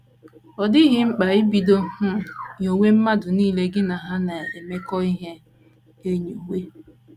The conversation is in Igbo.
Ọ dịghị mkpa ibido um nyowe mmadụ nile gị na ha na - emekọ ihe enyowe.